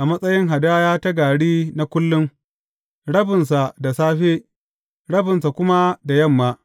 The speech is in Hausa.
a matsayin hadaya ta gari na kullum, rabinsa da safe, rabinsa kuma da yamma.